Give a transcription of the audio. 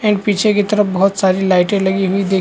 and पीछे की तरफ बहोत सारी लाइटें लगी हुई दिख--